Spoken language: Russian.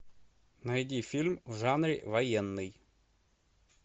найди фильм в жанре военный